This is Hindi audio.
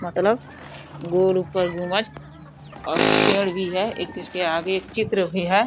मतलब गोल ऊपर गुम्बज और पेड़ भी है। एक इसके आगे एक चित्र भी है।